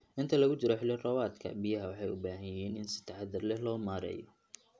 Inta lagu jiro xilli roobaadka, biyaha waxay u baahan yihiin in si taxadar leh loo maareeyo.